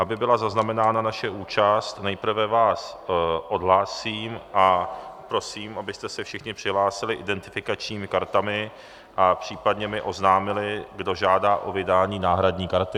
Aby byla zaznamenána naše účast, nejprve vás odhlásím a prosím, abyste se všichni přihlásili identifikačními kartami a případně mi oznámili, kdo žádá o vydání náhradní karty.